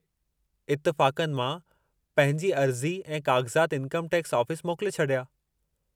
इतिफ़ाक़नि मां पंहिंजी अर्ज़ी ऐं काग़ज़ाति इन्कम टैक्स ऑफ़िस मोकले छॾिया।